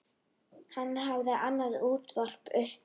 Hann hafði annað útvarp uppi.